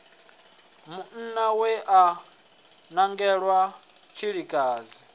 munna we a nangelwa tshilikadzi